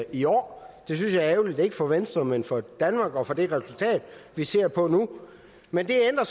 i år det synes jeg er ærgerligt ikke for venstre men for danmark og for det resultat vi ser på nu men det ændrer